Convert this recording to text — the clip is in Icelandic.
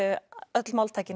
öll